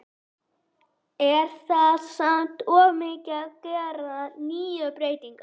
Er það samt of mikið að gera níu breytingar?